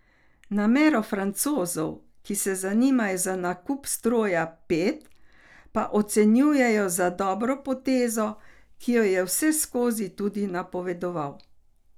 Namero Francozov, ki se zanimajo za nakup stroja pet, pa ocenjuje za dobro potezo, ki jo je vseskozi tudi napovedoval.